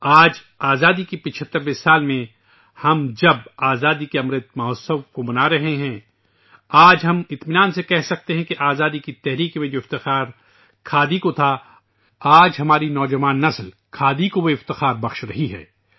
آج آزادی کے 75 ویں سال میں ، جب ہم آزادی کا امرت مہوتسو منا رہے ہیں ، آج ہم اطمینان کے ساتھ کہہ سکتے ہیں کہ آزادی کی تحریک میں جو وقار کھادی نے حاصل کیا تھا ، آج ہماری نوجوان نسل کھادی کو وہ شان دے رہی ہے